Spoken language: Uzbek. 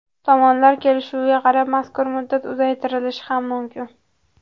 Tomonlar kelishuviga qarab mazkur muddat uzaytirilishi ham mumkin.